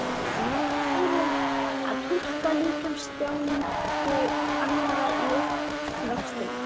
Við lærum að túlka líkamstjáningu annarra í uppvextinum.